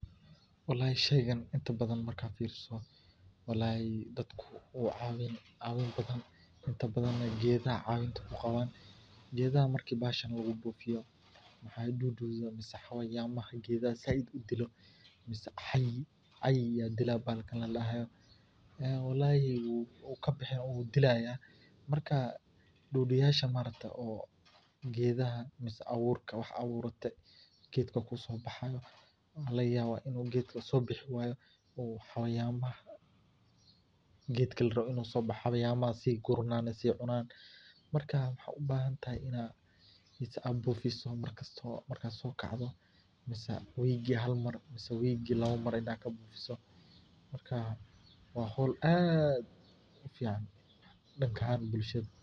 Walahi sheygan markan inta badan xasusto walahi inta badan geedaha calema balasha kuqawan, geedaha marki bahashan lagu bufiyo, geedaha mase waxaa aad aburate wu sobaxa marka geedkan xayawamaha inta badan si cunan marka waxaa u bahantahay in aad bufiso mar kasto aad so kacdo mase wigi hal mar mase lawa mar aad ka bufiso, marka waa hol aad u fudud.